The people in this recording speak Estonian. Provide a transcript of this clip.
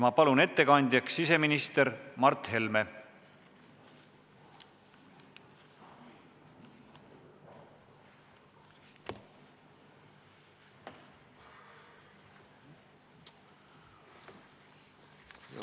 Ma palun ettekandjaks siseminister Mart Helme.